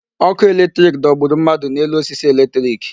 Ọkụ electric dọgburu mmadụ n'elu osisi electric.